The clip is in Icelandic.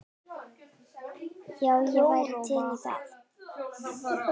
Já, ég væri til í það.